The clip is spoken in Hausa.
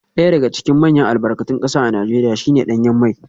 Daya daga cikin manyan albarkatun kasa a Najeriya shi ne danyen mai